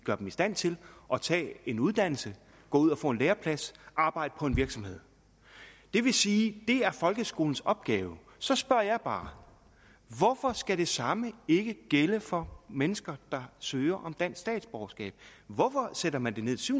gør dem i stand til at tage en uddannelse gå ud og få en læreplads arbejde på en virksomhed det vil sige at det er folkeskolens opgave så spørger jeg bare hvorfor skal det samme ikke gælde for mennesker der søger om dansk statsborgerskab hvorfor sætter man det ned til